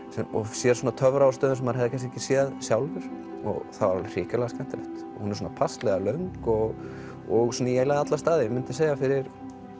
sér töfra á stöðum sem maður hefði kannski ekki séð sjálfur og það var alveg hrikalega skemmtilegt hún er svona passlega löng og og svona í alla staði fyrir